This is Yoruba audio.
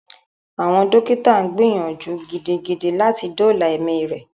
Àwọn dókítà gbìyànjú gidigidi láti dóòla ẹmí rẹ.